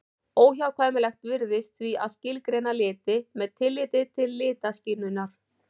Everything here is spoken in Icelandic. Óhjákvæmilegt virðist því að skilgreina liti með tilliti til litaskynjunar.